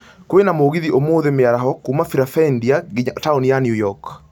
Kwĩna mũgithi ũmũthĩ mĩaraho kuuma Philadelphia nginya taũni ya new York